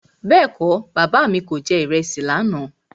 Bẹ́ẹ̀kọ́, Bàbá mi kò jẹ ìrẹsì lànà.